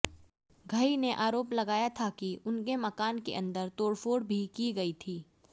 घई ने आरोप लगाया था कि उनके मकान के अंदर तोड़फोड़ भी की गई थी